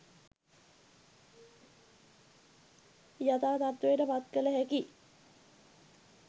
යථා තත්ත්වයට පත් කළ හැකි